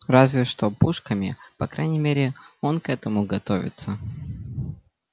разве что пушками по крайней мере он к этому готовится